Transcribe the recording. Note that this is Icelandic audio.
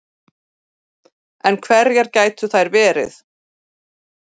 En hverjar gætu þær verið